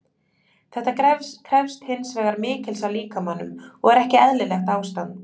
Þetta krefst hins vegar mikils af líkamanum og er ekki eðlilegt ástand.